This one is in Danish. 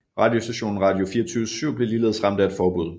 Radiostationen Radio24syv blev ligeledes ramt af et forbud